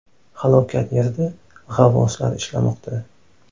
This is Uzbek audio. Halokat yerida g‘avvoslar ishlamoqda.